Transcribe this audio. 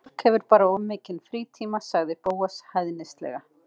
Sumt fólk hefur bara of mikinn frítíma- sagði Bóas hæðnislega.